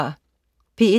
P1: